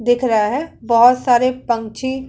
दिख रहा है बहोत सारे पंकछि --